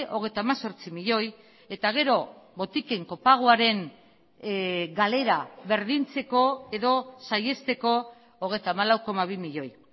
hogeita hemezortzi milioi eta gero botiken kopagoaren galera berdintzeko edo saihesteko hogeita hamalau koma bi milioi